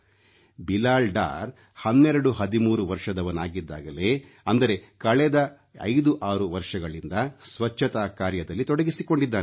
ಬಿಲಾಲ್ ಡಾರ್ 1213 ವರ್ಷದವನಿದ್ದಾಗಲೇ ಅಂದರೆ ಕಳೆದ 56 ವರ್ಷಗಳಿಂದ ಸ್ವಚ್ಛತಾ ಕಾರ್ಯದಲ್ಲಿ ತೊಡಗಿಸಿಕೊಂಡಿದ್ದಾನೆ